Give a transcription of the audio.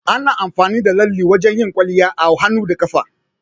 Ana amfani da lalle wajan yin kwalliya a hannu da kafa